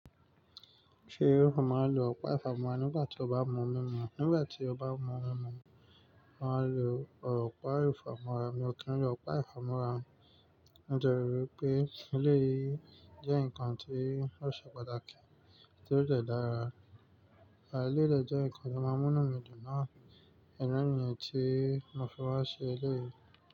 Ṣé ó máa ń lo ọ̀pá ìfámọ́ra nígbà tí o bá mú mímu? Nígbà tí o bá n mú mímu, màá lo ọ̀pá ìfámọ́ra. Mi ò kí ń lo ọ̀pá ìfámọ́ra. Nítorí pé ilé yìí jẹ́ nǹkan tí ó ṣe pàtàkì, tí ó dẹ̀ dára. À e lé dẹ̀ jẹ́ nǹkan tí ó máa mú nù mídu náà. Ìdí nìyí tí mo fi wà se le.